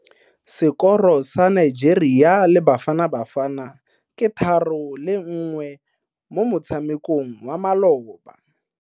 Sekoro sa Nigeria le Bafanabafana ke 3-1 mo motshamekong wa maloba.